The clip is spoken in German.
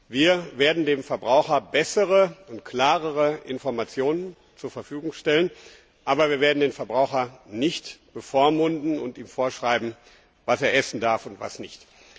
Wir werden dem Verbraucher bessere und klarere Informationen zur Verfügung stellen, aber wir werden den Verbraucher nicht bevormunden und ihm vorschreiben, was er essen darf und was nicht.